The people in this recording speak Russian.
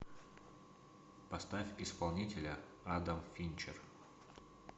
поставь исполнителя адам финчер